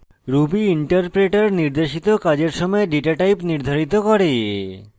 ruby interpreter নির্দেশিত কাজের সময় ডেটাটাইপ নির্ধারিত করে